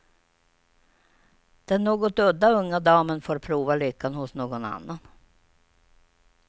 Den något udda unga damen får prova lyckan hos någon annan.